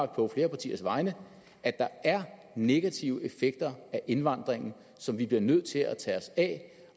på flere partiers vegne er negative effekter af indvandringen som vi bliver nødt til at tage os af